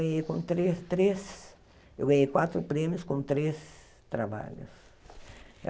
E ganhei com três três eu ganhei quatro prêmios com três trabalhos.